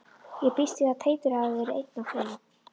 Ég býst við að Teitur hafi verið einn af þeim.